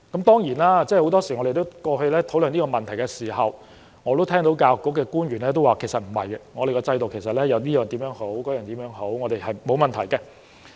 當然，很多時候，我們過去討論這問題時，我也會聽到教育局官員答覆說：不是的，我們的制度有很多好處，是沒有問題的。